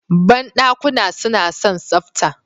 Banɗakuna suna son tsafta